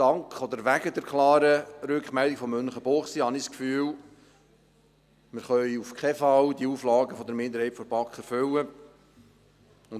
Dank oder wegen der klaren Rückmeldung von Münchenbuchsee habe ich das Gefühl, dass wir auf keinen Fall die Auflagen der Minderheit der BaK erfüllen können.